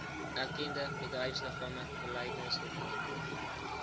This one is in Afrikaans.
erkende bedryfsliggame beleidsdokumente